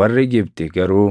Warri Gibxi garuu